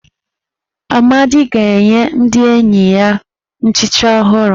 Amadi ga-enye ndị enyi ya nchicha ọhụrụ.